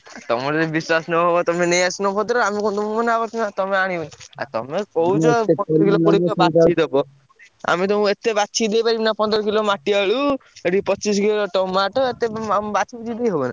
ତମର ଯଦି ବିଶ୍ବାସ ନହବ ତମେ ନେଇଆସୁନ ଭଦ୍ରକରୁ ଆମେ କଣ ତମୁକୁ ମନାକରୁଛୁ ନା ତମେ ଆଣିବନି, ଆଉ ତମେ କହୁଛ ବାଛିକି ଦବ, ଆମେ ତମୁକୁ ~ଏ ~ତେ ବାଛିକି ଦେଇପାରିବୁନା ପନ୍ଦର କିଲୋ ମାଟିଆଳୁ ଏଠି ପଚିଶି କିଲୋ tomato ଏତେ ଆମେ ବାଛିକିରି ଦେଇ ହବନା।